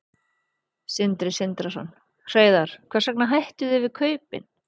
Sindri Sindrason: Hreiðar, hvers vegna hættuð þið við kaupin?